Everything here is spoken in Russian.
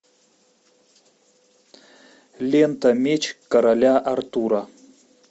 лента меч короля артура